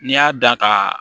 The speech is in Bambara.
N'i y'a da ka